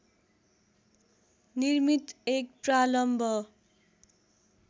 निर्मित एक प्रालम्ब